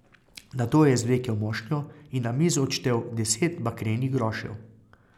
Nato je izvlekel mošnjo in na mizo odštel deset bakrenih grošev.